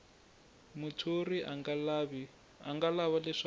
muthori a nga lava leswaku